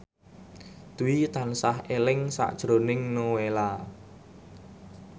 Dwi tansah eling sakjroning Nowela